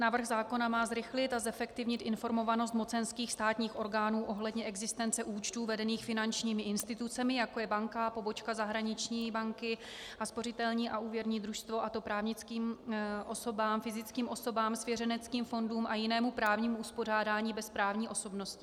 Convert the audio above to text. Návrh zákona má zrychlit a zefektivnit informovanost mocenských státních orgánů ohledně existence účtů vedených finančními institucemi, jako je banka, pobočka zahraniční banky a spořitelní a úvěrní družstvo, a to právnickým osobám, fyzickým osobám, svěřeneckým fondům a jinému právnímu uspořádání bez právní osobnosti.